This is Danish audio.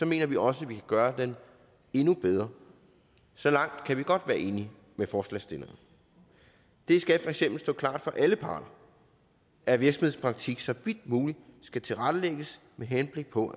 mener vi også at vi kan gøre den endnu bedre så langt kan vi godt være enige med forslagsstillerne det skal for eksempel stå klart for alle parter at virksomhedspraktik så vidt muligt skal tilrettelægges med henblik på